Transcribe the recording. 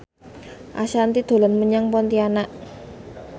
Ashanti dolan menyang Pontianak